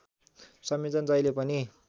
संयोजन जहिले पनि